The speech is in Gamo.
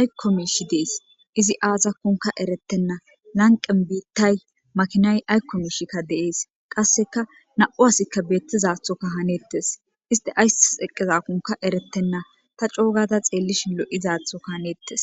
aykkomiishi dees izi aazakunka erettenna lanqen biittay makinay aykkomishikka deees qasseka na'u asikka beettizathoka hanettes iste ayssi eqqezakonka erettenna ta cogada xeellishi lo'izaathoka haneettes